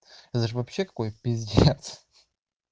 азербайджанское п